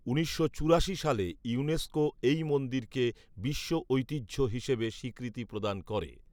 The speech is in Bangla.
উনিশশো চুরাশি সালে ইউনেস্কো এই মন্দিরকে বিশ্বঐতিহ্য হিসেবে স্বীকৃতি প্রদান করে